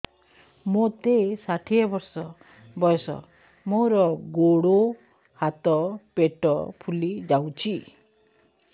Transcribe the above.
ମୋତେ ଷାଠିଏ ବର୍ଷ ବୟସ ମୋର ଗୋଡୋ ହାତ ପେଟ ଫୁଲି ଯାଉଛି